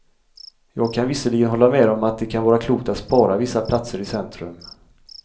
Jag kan visserligen hålla med om att det kan vara klokt att spara vissa platser i centrum.